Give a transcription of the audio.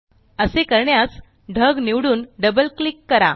असे करण्यास ढग निवडून डबल क्लिक करा